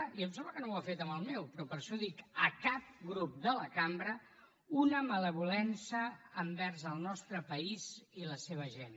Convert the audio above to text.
i em sembla que no ho ha fet amb el meu però per això ho dic a cap grup de la cambra una malvolença envers el nostre país i la seva gent